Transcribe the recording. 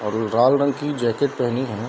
और लाल रंग की जैकेट पहनी है।